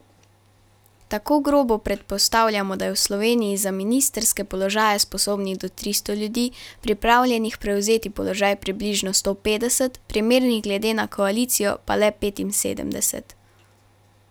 Tako grobo predpostavljamo, da je v Sloveniji za ministrske položaje sposobnih do tristo ljudi, pripravljenih prevzeti položaj približno sto petdeset, primernih glede na koalicijo pa le petinsedemdeset.